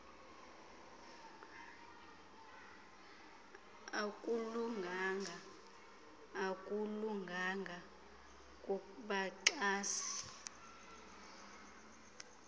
akulunganga akulunganga kubaxhasi